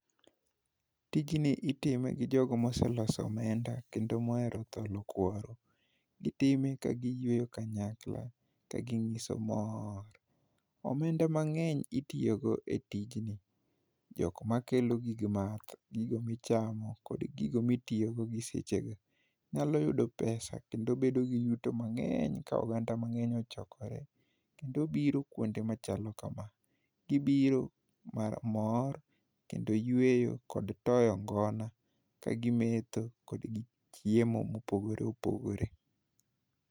Tijni iteme gi jogo moseloso omenda kendo mohero tholo kuoro. Gitime ka kiyueyo kanyakla ka ginyiso mor. Omenda mang'eny itiyo godo e tijni Jogo makelo gig math gigo michamo kod gigo mitiyo go gi sechegi. Inyalo yudo pesa kendo obedo gi yuto mang'eny ka oganda mang'eny ochokore kendo obiro kuonde machalo kama. Gibiro mar mor kendo yueyo kod toyo ngona ka gimetho kod gichiemo mopogore opogore.